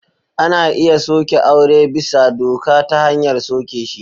Ana iya soke aure bisa doka ta hanyar soke shi.